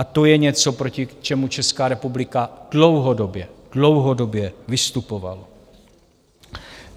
A to je něco, proti čemu Česká republika dlouhodobě, dlouhodobě vystupovala.